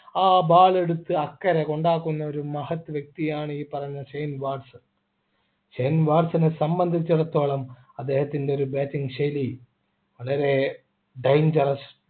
ആ ball എടുത്ത് അക്കരെ കൊണ്ടാക്കുന്ന ഒരു മഹത് വ്യക്തിയാണ് ഈ പറഞ്ഞ ഷെയിൻ വാട്സൺ ഷെയിൻ വാട്സനെ സംബന്ധിച്ചിടത്തോളം അദ്ദേഹത്തിൻ്റെ ഒരു bating ശൈലി അദ്ദേഹം ഏർ വളരെ dangerous